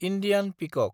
Indian पिकक